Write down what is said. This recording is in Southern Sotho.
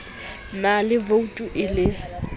na le voutu e le